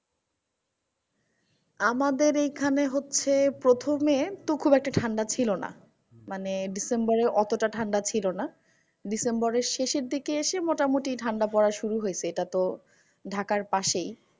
আমাদের এখানে হচ্ছে প্রথমে খুব একটা ঠান্ডা ছিল না। মানে ডিসেম্বরে অতটা ঠান্ডা ছিল না। ডিসেম্বরের শেষের দিকে এসে মোটামুটি ঠান্ডা পড়া শুরু হেসে, এটা তো ঢাকার পাশেই?